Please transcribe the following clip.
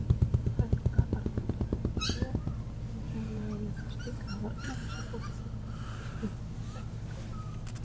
Helga Arnardóttir: Er ekki hreinlega verið að stilla varnarlausu fólki bara upp við vegg?